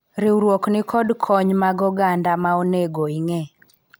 riwruok nikod kony mag oganda ma onego ing'e